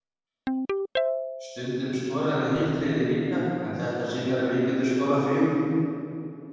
Stundum skoraði hitt liðið líka, en þetta sýnir að við getum skorað fjögur.